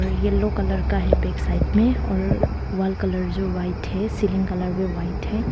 Yellow colour का है back side में और वॉल कलर जो वाइट है सीलिंग कलर भी व्हाइट है।